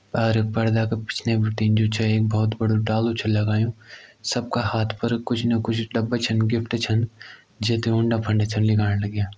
अर पर्दा का पिछने बिटिन जु छे एक बोहोत बड़ु डालु छ लगायुं सबका हाथ पर कुछ ना कुछ डब्बा छन गिफ्ट छन जैते उंडा फंड छन लीगाण लग्यां।